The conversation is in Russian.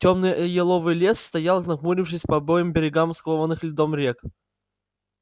тёмный э еловый лес стоял нахмурившись по обоим берегам скованных льдом рек